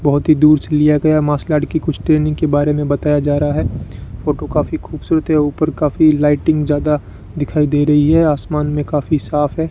बहोत ही दूर से लिया गया मार्शल आर्ट की कुछ ट्रेनिंग के बारे में बताया जा रहा है फोटो काफी खूबसूरत है ऊपर काफी लाइटिंग ज्यादा दिखाई दे रही है आसमान में काफी साफ है।